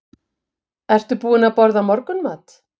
Ertu búin að borða morgunmat?